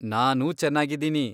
ನಾನೂ ಚೆನ್ನಾಗಿದ್ದೀನಿ.